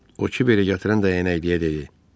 O Kiberi gətirən dəyənəkliyə dedi: